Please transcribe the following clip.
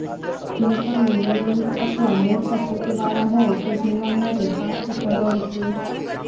જો તમે નિયમિત અથવા મૂર્ખ ફૂટવાળા હોવ તો જોવા માટે પાંચ સરળ ટેસ્ટ